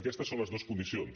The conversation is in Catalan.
aquestes són les dues condicions